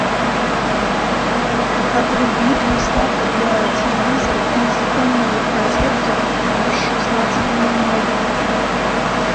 отруби приставка для телевизора из умной розетки в шестнадцать ноль ноль